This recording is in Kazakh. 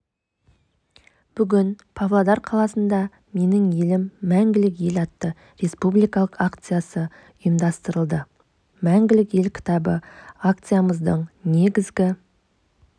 бүгін павлодар қаласына менің елім мәңгілік ел атты республикалық акциясы ұйымадстырылды мәңгілік ел кітабы акциямыздың негізгі